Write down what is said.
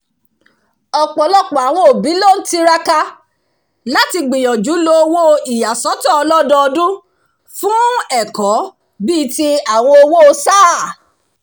ọ̀pọ̀lọpọ̀ àwọn òbí ló ń tiraka láti gbìyànjú lo owó ìyàsọ́tọ̀ ọlọ́dọọdún fún ẹ̀kọ́ bí i ti àwọn owó sáà